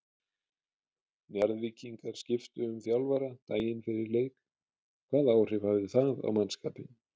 Njarðvíkingar skiptu um þjálfara daginn fyrir leik, hvaða áhrif það hafði á mannskapinn?